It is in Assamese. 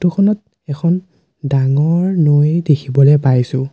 ফটো খনত এখন ডাঙৰ নৈ দেখিবলৈ পাইছোঁ।